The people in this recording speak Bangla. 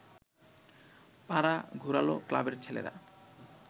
পাড়া ঘোরাল ক্লাবের ছেলেরা